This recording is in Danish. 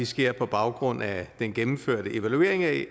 sker på baggrund af den gennemførte evaluering af